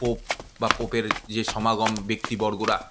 pope বা পোপের যে সমাগম ব্যক্তি বর্গরা--